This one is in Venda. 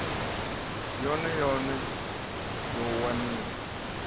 yone yone ya u waniwa